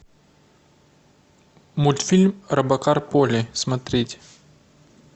мультфильм робокар поли смотреть